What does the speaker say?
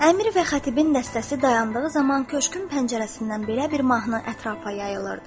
Əmir və xətibin dəstəsi dayandığı zaman köşkün pəncərəsindən belə bir mahnı ətrafa yayılırdı: